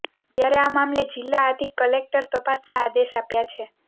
ત્યારે આ મામલે જિલ્લા અધિક કલેક્ટરે તપાસના આદેશ આપ્યા છે